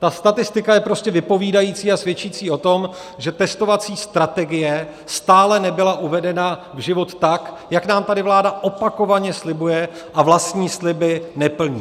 Ta statistika je prostě vypovídající a svědčící o tom, že testovací strategie stále nebyla uvedena v život tak, jak nám tady vláda opakovaně slibuje a vlastní sliby neplní.